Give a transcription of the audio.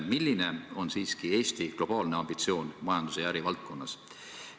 Milline on ikkagi Eesti globaalne ambitsioon majanduse ja äri valdkonnas?